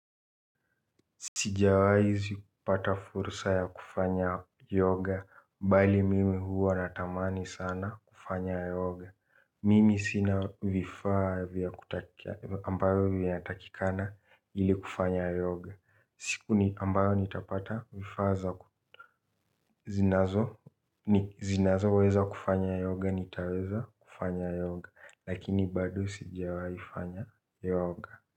Sijawai zikupata fursa ya kufanya yoga, bali mimi huwa natamani sana kufanya yoga. Mimi sina vifaa vya kutakia, ambayo vinatakikana ili kufanya yoga. Siku ambayo nitapata vifaa za zinazo, zinazo weza kufanya yoga, nitaweza kufanya yoga. Lakini bado sijawai fanya yoga.